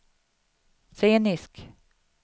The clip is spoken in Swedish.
scenisk